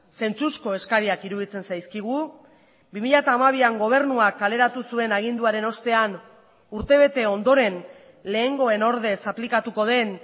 zentzuzko eskariak iruditzen zaizkigu bi mila hamabian gobernuak kaleratu zuen aginduaren ostean urte bete ondoren lehengoen ordez aplikatuko den